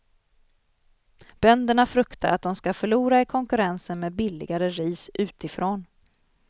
Bönderna fruktar att de ska förlora i konkurrensen med billigare ris utifrån.